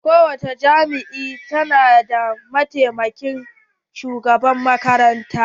Ko wani jami'a ta na da mataimakin shugaban makaranta.